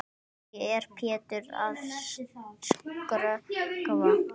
Hverju er Pétur að skrökva?